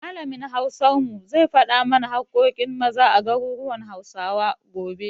Malamin Hausar mu zai faɗa mana haƙƙoƙin Maza a garuruwan Hausawa, gobe.